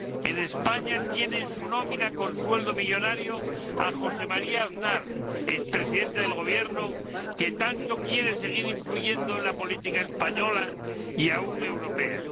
En España tiene en su nómina con sueldo millonario a José María Aznar, ex Presidente del Gobierno, que tanto quiere seguir influyendo en la política española y aun en la europea.